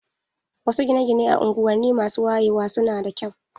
Wasu gine-gine a unguwanni masu wayewa su na da kyau.